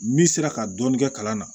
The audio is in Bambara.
N'i sera ka dɔɔnin kɛ kalan na